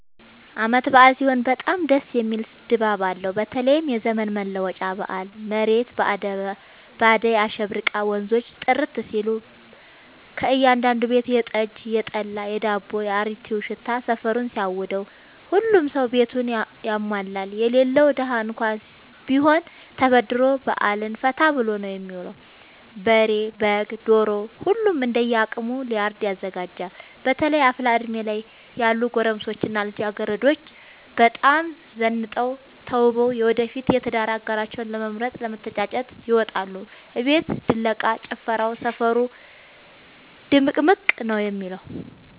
አበዓል ሲሆን በጣም ደስ የሚል ድባብ አለው በተለይም የዘመን መለወጫ በአል መሬት በአዳይ አሸብርቃ ወንዞቹ ጥርት ሲሉ ከእያዳዱ ቤት የጠጅ፣ የጠላ የዳቦው።፣ የአሪቲው ሽታ ሰፈሩን ሲያውደው። ሁሉም ሰው ቤቱን ያሟላል የሌለው ደሀ እንኳን ቢሆን ተበድሮ በአልን ፈታ ብሎ ነው የሚውለው። በሬ፣ በግ፣ ዶሮ ሁሉም እንደየ አቅሙ ለእርድ ያዘጋጃል። በተለይ አፍላ እድሜ ላይ ያሉ ጎረምሶች እና ልጃገረዶች በጣም ዘንጠው ተውበው የወደፊት የትዳር አጋራቸውን ለመምረጥ ለመተጫጨት ይወጣሉ። አቤት ድለቃ፣ ጭፈራው ሰፈሩ ድምቅምቅ ነው የሚለው።